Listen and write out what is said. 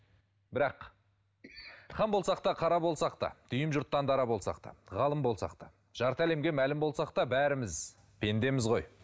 бірақ хан болсақ та қара болсақ та дүйім жұрттан дара болсақ та ғалым болсақ та жарты әлемге мәлім болсақ та бәріміз пендеміз ғой